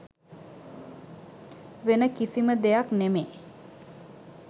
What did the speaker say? වෙන කිසිම දෙයක් නෙමේ